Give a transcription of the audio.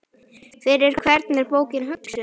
Fyrir hvern er bókin hugsuð?